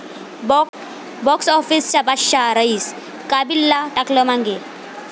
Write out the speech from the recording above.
box आॅफिसचा बादशहा 'रईस','काबील'ला टाकलं मागे